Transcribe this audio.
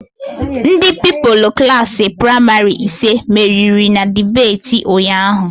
Ndị Pupilụ Klassị pramarị ise meriri na debeti ụnyaahụ